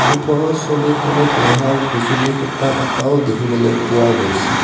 ওপৰৰ ছবিখনত লোহাৰ বিজুলী খুঁটা এটাও দেখিবলৈ পোৱা গৈছে।